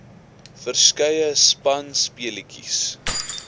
verskeie spanspe letjies